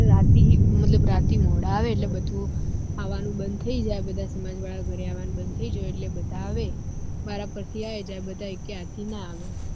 રાતે મતલબ રાતે મોડા આવે એટલે બધું આવાનું બંદ થઇ જાય બધા સમાજ વાળા ઘર આવાનું બંદ થઇ જાયે એટલે બધા આવે વારા ફરથી આયે જાયે બધા એક એ સાથે ના આવે